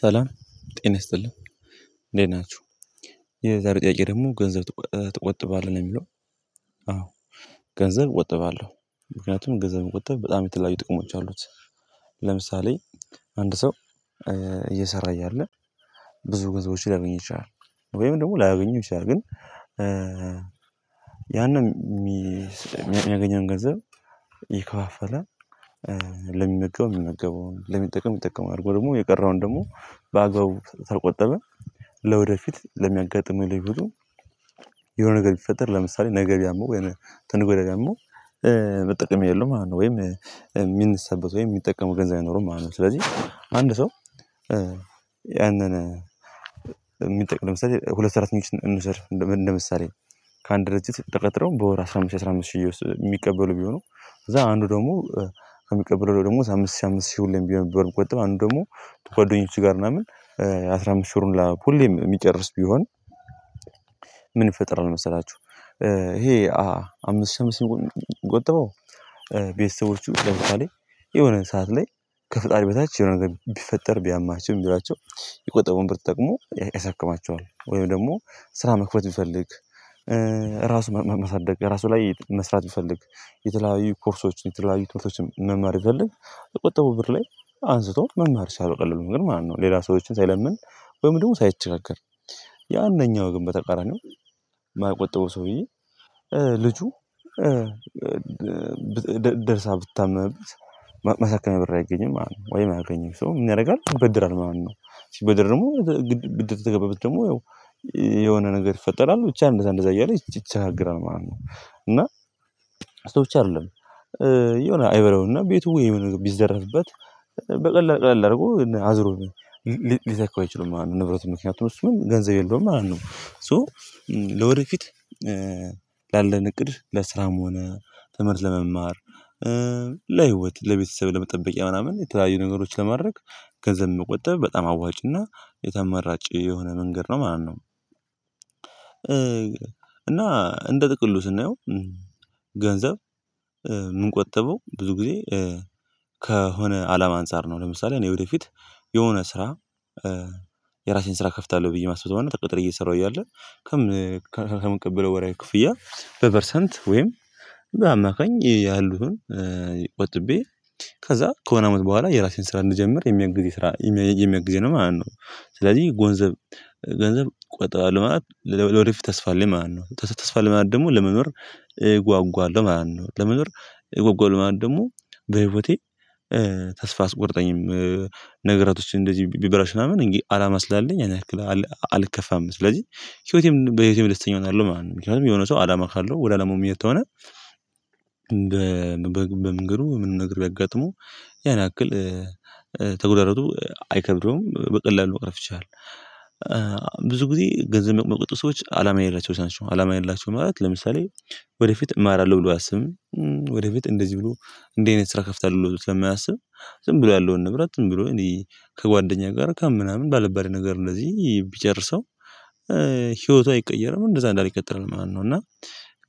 ሰላም ጤና ይስጥልን እንዴት ናችሁ የዛሬ ጥያቄ ደግሞ ገንዘብ ትቆጥባለህ ነው የሚለው? አዎ ገንዘብ እቆጥባለሁ ምክንያቱም ገንዘብ መቆጠብ በጣም የተለያዩ ጥቅሞች አሉት። ለምሳሌ አንድ ሰው እየሰራ እያለ ብዙ ገንዘቦች ሊያገኝ ይችላል ወይም ደግሞ ላያገኝ ይችላል። ግን ያንን የሚያገኘውን ገንዘብ ይከፋፈላል ለሚመገብ ሚመገበውኝ ለሚጠቀም የሚጠቀመውኝ አድርጎ ደግሞ የቀረውን ደግሞ በአግባቡ ተቆጠበ። ለወደፊት ለሚያጋጥመው ነገር ሁሉ የሆነ ነገር ቢፈጠር ለምሳሌ ነገ ቢያመው ወይንም ከነገ ወዲያ ቢያመው መጠቀሚያ የለውም ማለት ነው ወይም የሚነሳበት ወይም የሚጠቀመው ገንዘብ አይኖርም ማለት ነው። ስለዚህ አንድ ሰው ያንን የሚጠቅም ለምሳሌ ሁለት ሰራተኞችን እንውሰድ እንደ ምሳሌ ከአንድ ድርጅት ተቀጥረው በወር አስራ አምስት አስራ አምስት ሺህ ውስጥ የሚቀበሉ ቢሆኑ ከዛ አንዱ ደግሞ ከሚቀበለው ደግሞ ሳምስት ሳምስት ሲሆን ቢሆን ቢቆጥብ አንድ ደግሞ ጓደኞች ጋር ምናምን አስራ አምስት ሺህ ብሩን ላይ ሁሌም የሚጨርስ ቢሆን ምን ይፈጥራል? መሰላችሁ ይሄ አምስት ሺ አምስት ሺ የምቆጥበው ቤተሰቦቹ ለምሳሌ የሆነ ሰዓት ላይ ከፍጣሪ በታች የሆነ ነገር ቢፈጠር ቢያማቸው የሚረዳቸው የቆጠቡን ብር ተጠቅሞ ያሳክማቸዋል ወይም ደግሞ ስራ መክፈት ቢፈልግ ራሱ ማሳደግ ራሱ ላይ መስራት ቢፈልግ የተለያዩ ኮርሶችን የተለያዩ ትምህርቶችን መማር ቢፈልግ ከቆጠበው ብር ላይ አንስቶ መማር ይችላል በቀላሉ ግን ማለት ነው። ሌላ ሰዎችን ሳይለምን ወይም ደግሞ ሳይቸጋገር ያንኛው ግን በተቃራኒው የማይቆጠበው ሰውዬ ልጁ ደርሳ ብታመምበት ማሳከሚያ ብር አይገኝም ማለት ነው ወይ የማያገኘው ሰው ምን ያደርጋል ይበደራል ማለት ነው ሲበደር ደግሞ ብድር ተገባበት ደግሞ ያው የሆነ ነገር ይፈጠራል ብቻ እንደዛ እንደዛ እያለ ይቸገራል ማለት ነው። እና እሱ ብቻ አይደለም የሆነ አይበለውና ቤቱ ወይ ቢዘረፍበት በቀላል አድርጎ አዝሮኝ ሊተካው አይችልም ማለት ነው ንብረት ምክንያቱም እሱን ገንዘብ የለውም ማለት ነው። ሶ ለወደፊት ላለን እቅድ ለስራም ሆነ ትምህርት ለመማር ለህይወት ለቤተሰብ ለመጠበቂያ ምናምን የተለያዩ ነገሮች ለማድረግ ገንዘብ መቆጠብ በጣም አዋጭና የተመራጭ የሆነ መንገድ ነው ማለት ነው። እና እንደ ጥቅሉ ስናየው ገንዘብ ቆጥበው ብዙ ጊዜ ከሆነ አላማ አንፃር ነው ለምሳሌ እኔ ወደፊት የሆነ ስራ የራሴን ስራ እከፍታለሁ ብዬ ማስበውና ተቀጥሬ እየሰራሁ እያለ ከምቀበለው ወርሃዊ ክፍያ በፐርሰንት ወይም በአማካኝ ያሉትን ቆጥቤ ከዛ ከሆነ አመት በኋላ የራሴን ስራ እንጀምር የሚያግዝ ስራ የሚያግዝ ነው ማለት ነው ስለዚህ ገንዘብ ገንዘብ ቆጣባለሁ ማለት ለወደፊት ተስፋ አለኝ ማለት ነው። ተስፋ አለኝ ማለት ደግሞ ለመኖር ጓጓለሁ ማለት ነው ለመኖር እጓጓለሁ ማለት ደግሞ በህይወቴ ተስፋ አያስቆርጠኝም ነገራቶችን እንደዚህ ቢበላሹ ምናምን እንግዲህ አላማ ስላለኝ ያን ያክል አልከፋም ስለዚህ ህይወቴም በህይወቴም ደስተኛ እሆናለሁ ማለት ነው። ምክንያቱም የሆነ ሰው አላማ ካለው ወደ አላማው ምሄድ ከሆነ በመንገዱ ምንም ነገር ቢያጋጥመው ያን ያክል ተጎዳድቶ አይከብደውም በቀላሉ መቅረፍ ይችላል ብዙ ጊዜ ገንዘብ የማይቆጡ ሰዎች አላማ የሌላቸው ናቸው። አላማ የሌላቸው ማለት ለምሳሌ ወደፊት እማራለሁ ብሎ አያስብም ወደፊት እንደዚህ ብሎ እንዲህ አይነት ስራ ከፍታለሁ ብሎ ስለማያስብ ዝም ብሎ ያለውን ንብረት ዝም ብሎ እኔ ከጓደኛ ጋር ከምናምን ባልባሌ ነገር እንደዚህ ቢጨርሰው ህይወቱ አይቀየርም እንደዛ እንዳለ ይቀጥላል ማለት ነው። እና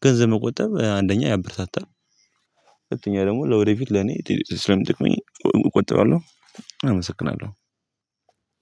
ገንዘብ መቆጠብ አንደኛ ያበረታታል ሁለተኛ ደግሞ ለወደፊት ለኔ ስለምጠቅመኝ እቆጥባለሁ አመሰግናለሁ።